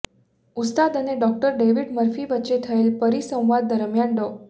ઉસ્તાદ અને doctor David Murphy વચ્ચે થયેલ પરિસંવાદ દરમિયાન ડો